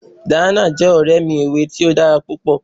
Diana jẹ́ ọ̀rẹ́ mi ẹ̀wé̀ tì o dára pupọ̀.